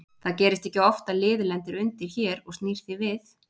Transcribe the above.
Það gerist ekki oft að lið lendir undir hér og snýr því við.